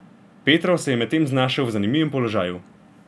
Petrov se je medtem znašel v zanimivem položaju.